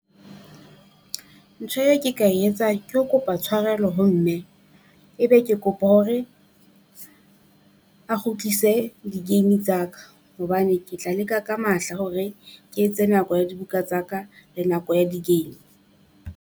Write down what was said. Ntho eo ke ka e etsang ke ho kopa tshwarelo ho mme, ebe ke kopa hore a kgutlise di-game tsa ka, hobane ke tla leka ka matla hore ke etse nako ya dibuka tsa ka le nako ya di-game.